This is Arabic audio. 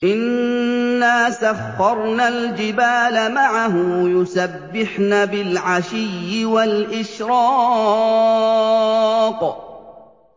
إِنَّا سَخَّرْنَا الْجِبَالَ مَعَهُ يُسَبِّحْنَ بِالْعَشِيِّ وَالْإِشْرَاقِ